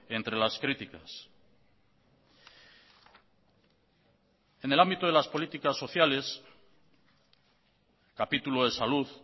entre las críticas en el ámbito de las políticas sociales capítulo de salud